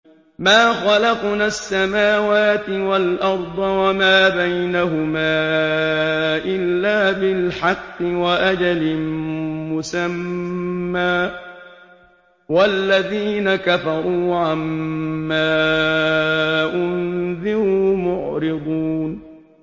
مَا خَلَقْنَا السَّمَاوَاتِ وَالْأَرْضَ وَمَا بَيْنَهُمَا إِلَّا بِالْحَقِّ وَأَجَلٍ مُّسَمًّى ۚ وَالَّذِينَ كَفَرُوا عَمَّا أُنذِرُوا مُعْرِضُونَ